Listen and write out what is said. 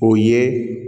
O ye